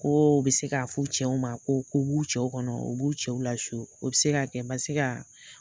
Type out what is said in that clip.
Ko u bi se ka f'u cɛw ma ko b'u cɛw kɔnɔ u b'u cɛw lasu, o bi se ka kɛ. Basika